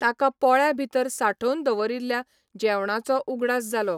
ताका पोळ्या भितर सांठोवन दवरिल्ल्या जेवणाचो उगडास जालो.